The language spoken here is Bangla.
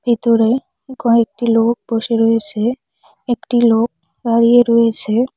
ভিতরে কয়েকটি লোক বসে রয়েছে একটি লোক দাঁড়িয়ে রয়েছে।